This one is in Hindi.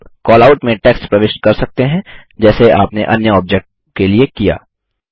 आप कैलआउट में टेक्स्ट प्रविष्ट कर सकते हैं जैसे आपने अन्य ऑब्जेक्ट के लिए किया